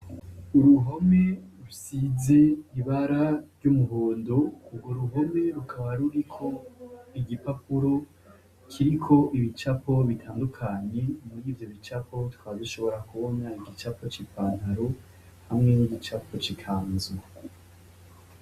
Uruhome rusize ibara ry'umuhondo ,urwo ruhome rukaba ruriko igipapuro kiriko ibicapo bitandukanye, murivyo bicapo tukaba dushobora kubona ibicapo bitandukanye ,murivyo bicapo hariho igicapo c’ipantaro, hamwe n'igicapo c'ikanzu.